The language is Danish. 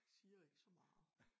Siger ikke så meget